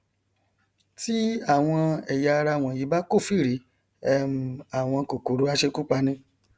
tí àwọn ẹyà ara wọnyí bá kófìrí um àwọn kòkòrò aṣekúpani